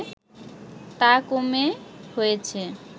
তা কমে হয়েছে